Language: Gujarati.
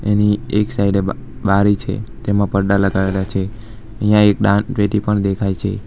એની એક સાઇડ એ બારી છે તેમાં પડદા લગાવેલા છે અહીંયા એક દાન પેટી પણ દેખાય છે.